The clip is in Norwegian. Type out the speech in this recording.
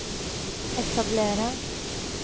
etablere